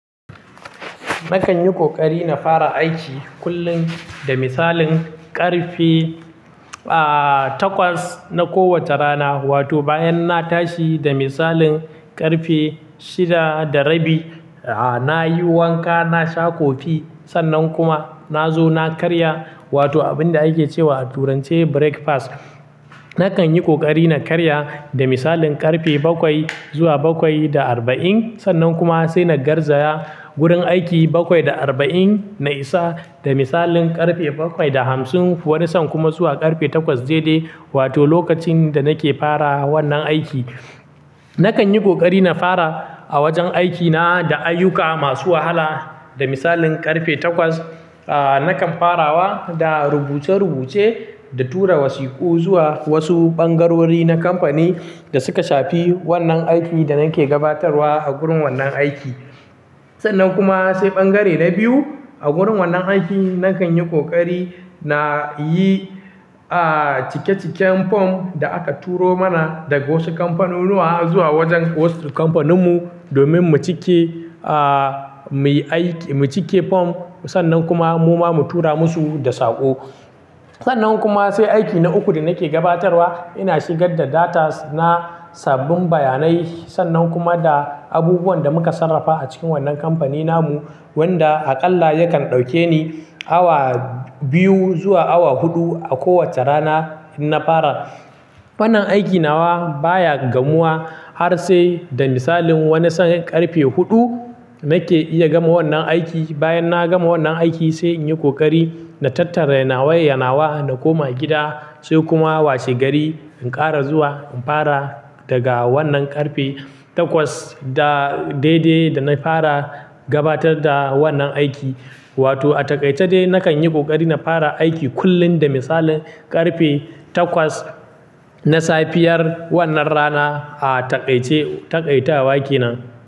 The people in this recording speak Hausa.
Nakan yi ƙoƙari na fara aiki kullum, da misalin ƙarfe, ah, takwas na kowace rana. Wato bayan na tashi da misalin ƙarfe shida da rabi, ah, na yi wanka, na sha kofi sannan kuma na zo na karya. Wato abin da ake cewa a turance breakfast. Nakan yi ƙoƙari na karya da misalin ƙarfe bakwai zuwa bakwai da arba'in. Sannan kuma sai na garzaya gurin aiki bakwai da arba'in, na isa da misalin ƙarfe bakwai da hamsin. Wani san kuma zuwa ƙarfe takwas daidai. Wato lokacin da nake fara wannan aiki. Nakan yi ƙoƙari na fara a wajen aikina da ayyuka masu wahala. Da misalin ƙarfe takwas, ah, nakan farawa da rubuce-rubuce da tura wasiku zuwa wasu ɓangarori na kamfani da suka shafi wannan aikin da nake gabatarwa a gurin wannan aiki. Sannan kuma sai bangare na biyu. A gurin wannan aiki, nakan yi ƙoƙari na yi, ah, cike-ciken form da aka turo mana daga wasu kamfanunuwa zuwa wajen wasu kamfaninmu domin mu cike, ah, mu yi aiki, mu cike form sannan kuma mu ma mu tura musu da saƙo. Sannan kuma sai aiki na uku da nake gabatarwa, ina shigar da datas na sabbin bayanai sannan kuma da abubuwan da muka sarrafa a cikin wannan kamfanin namu, wanda aƙalla yakan ɗauke ni awa biyu zuwa awa huɗu a kowace rana ina fara. Wannan aikin nawa, baya gamuwa har sai da misalin wani san ƙarfe huɗu nake iya gama wannan aiki. Bayan na gama wannan aiki sai in yi ƙoƙari na tattare yanawa-yanawa. Na koma gida sai kuma washe gari in ƙara zuwa in fara daga wannan ƙarfe takwas da daidai da na fara gabatar da wannan aiki. Wato a taƙaice dai nakan yi ƙoƙari na fara aiki kullum da misalin ƙarfe takwas na safiyar wannan rana, ah, taƙaice, taƙaitawa kenan.